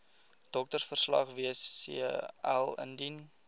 doktersverslag wcl indien